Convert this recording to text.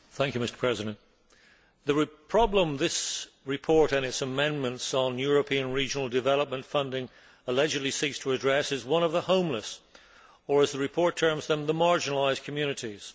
Mr President, the problem which this report and its amendments on European regional development funding allegedly seeks to address is the one of the homeless or, as the report terms them, the marginalised communities.